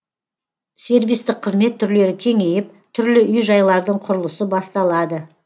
сервистік қызмет түрлері кеңейіп түрлі үй жайлардың құрылысы басталады